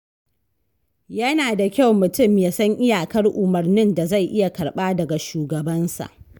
Yana da kyau mutum ya san iyakar umarnin da zai iya karɓa daga shugabansa.